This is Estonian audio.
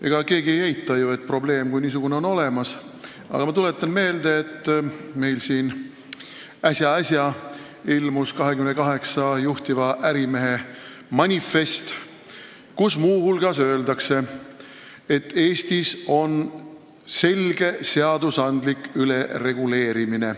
Ega keegi ei eita ju, et probleem kui niisugune on olemas, aga ma tuletan meelde, et äsja-äsja ilmus 28 juhtiva ärimehe manifest, kus muu hulgas öeldakse, et Eestis on selge seadusandlik ülereguleerimine.